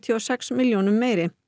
og sex milljónum meiri